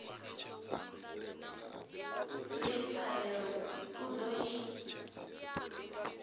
ri pfarelo u ḓo i